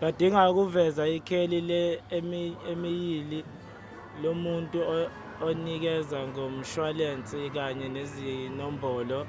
badinga ukuveza ikheli le-imeyili lomuntu onikeza ngomshwalense kanye nezinombolo